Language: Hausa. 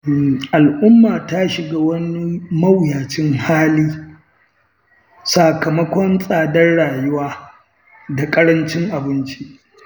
Al'umma ta shiga wani mawuyacin hali, sakamakon tsadar rayuwa da ƙarancin abinci.